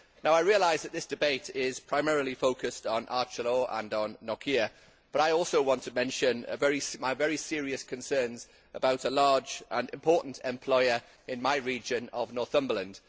Now I realise that this debate is primarily focused on Arcelor and on Nokia but I also want to mention my very serious concerns about a large and important employer in my region of Northumberland.